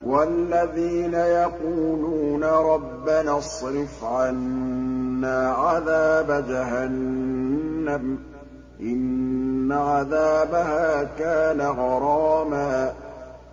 وَالَّذِينَ يَقُولُونَ رَبَّنَا اصْرِفْ عَنَّا عَذَابَ جَهَنَّمَ ۖ إِنَّ عَذَابَهَا كَانَ غَرَامًا